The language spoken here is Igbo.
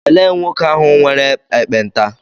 Elee nwoke ahụ nwere ekpenta?